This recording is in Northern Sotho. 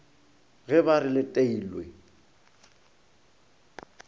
ge ba re le teilwe